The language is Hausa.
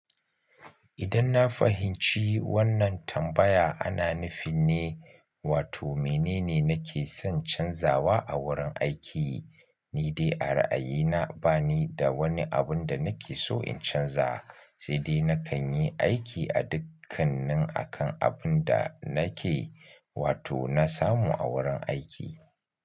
Idan na fahimci wannan tambaya ana nufi ne, wato menene nake son canzawa a wurin aiki, ni dai a ra'ayina ba ni da wani abin da nake so in canza, sai dai na kan yi aiki a dukkanin akan abun da nake, wato na samu a wurin aiki.